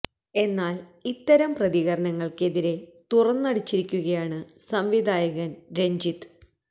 എന്നാല് ഇത്തരം പ്രതികരണങ്ങള്ക്ക് എതിരെ തുറന്നടിച്ചിരിക്കുകയാണ് സംവിധായകന് പ രഞ്ജിത്ത്